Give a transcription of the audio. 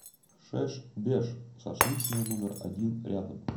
шеш беш шашлычная номер один рядом